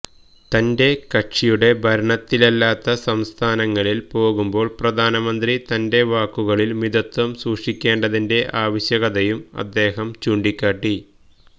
തന്റെ കക്ഷിയുടെ ഭരണത്തിലല്ലാത്ത സംസ്ഥാനങ്ങളിൽ പോകുമ്പോൾ പ്രധാനമന്ത്രി തന്റെ വാക്കുകളിൽ മിതത്വം സൂക്ഷിക്കേണ്ടതിന്റെ ആവശ്യകതയും അദ്ദേഹം ചൂണ്ടിക്കാട്ടി